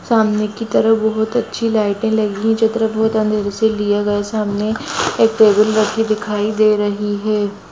सामने की तरफ बहुत अच्छी लाईटे लगी है चित्र बहुत अंधरे से लिए लगे है सामने एक टेबल रखी दिखाई दे रही है।